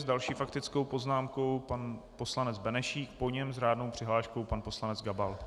S další faktickou poznámkou pan poslanec Benešík, po něm s řádnou přihláškou pan poslanec Gabal.